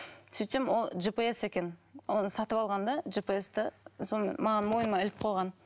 сөйтсем ол жпс екен оны сатып алған да жпс ты соны маған мойныма іліп қойған